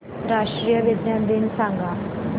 राष्ट्रीय विज्ञान दिन सांगा